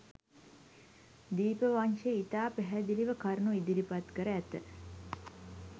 දීපවංශය ඉතා පැහැදිළිව කරුණු ඉදිරිපත් කර ඇත.